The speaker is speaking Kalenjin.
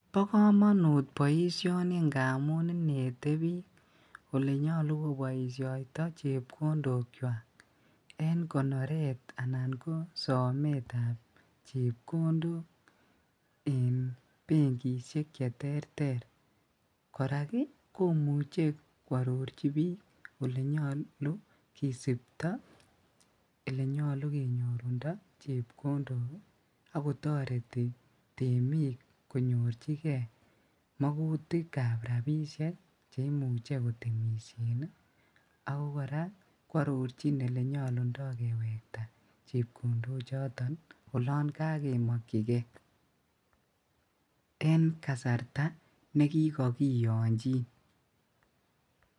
Bokomonut boishoni ng'amun inete biik olenyolu koboishoto chepkondokwak en konoret anan ko sometab chepkondok en benkishek cheterter, korak ii komuche kwororchi biik olenyolu kisipto elenyolu kenyorundo chepkondok ako toretii temiik konyorchikee mokutikab rabishek cheimuche kotemishen ii ako kora kwororchin olenyolundo kewektaa chepkondo choton oloon kokemokyikee en kasarta nekikokiyonchin.